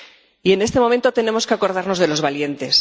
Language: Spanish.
Y en este momento tenemos que acordarnos de los valientes.